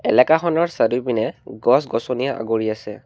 এলেকাখনৰ চাৰিওপিনে গছ গছনিয়ে আগুৰি আছে।